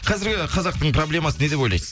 қазіргі қазақтың проблемасы не деп ойлайсыз